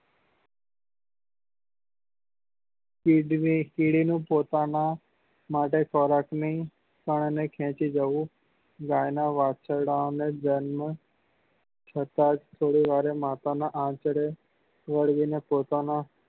એ જ રીતે કીડી નું પોતાના માટે ખોરાક ની તાની ને ખેંચી જવું ગાય નાં વાછરડા ને ધ્યાન માં થતા જ થોડીવાર માં માતા નાં આંચળે વડે પોતાના